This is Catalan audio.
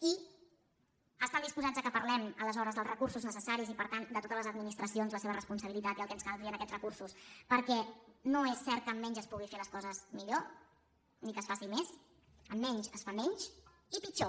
i estan disposats que parlem aleshores dels recursos necessaris i per tant de totes les administracions la seva responsabilitat i el que ens caldria aquests recursos perquè no és cert que amb menys es puguin fer les coses millor ni que es faci més amb menys es fa menys i pitjor